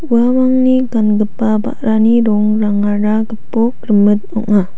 uamangni gangipa ba·rani rongrangara gipok rimit ong·a.